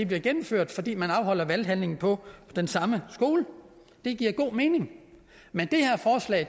bliver gennemført fordi man afholder valghandlingen på den samme skole det giver god mening men